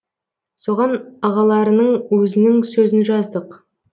соған ағаларыңның өзінің сөзін жаздық